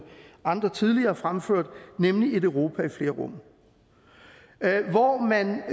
tidligere har fremført nemlig et europa i flere rum hvor man